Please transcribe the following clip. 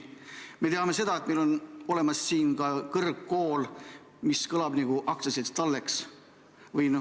Me teame seda, et meil on olemas kõrgkool, mille nimi kõlab nagu aktsiaseltsil Talleks.